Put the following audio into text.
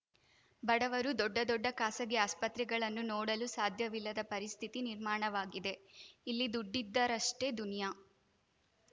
ಬಡವರು ದೊಡ್ಡ ದೊಡ್ಡ ಖಾಸಗಿ ಆಸ್ಪತ್ರೆಗಳನ್ನು ನೋಡಲು ಸಾಧ್ಯವಿಲ್ಲದ ಪರಿಸ್ಥಿತಿ ನಿರ್ಮಾಣವಾಗಿದೆ ಇಲ್ಲಿ ದುಡ್ಡಿದ್ದರಷ್ಟೇ ದುನಿಯಾ